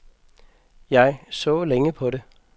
Jeg så længe på det.